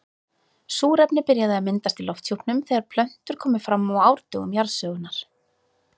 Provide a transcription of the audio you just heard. Súrefni byrjaði að myndast í lofthjúpnum þegar plöntur komu fram á árdögum jarðsögunnar.